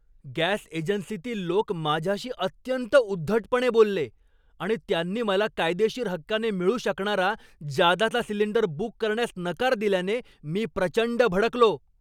Gas एजन्सीतील लोक माझ्याशी अत्यंत उद्धटपणे बोलले आणि त्यांनी मला कायदेशीर हक्काने मिळू शकणारा जादाचा सिलिंडर बुक करण्यास नकार दिल्याने मी प्रचंड भडकलो.